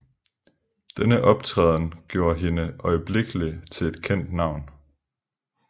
Denne optræden gjorde hende øjeblikkelig til et kendt navn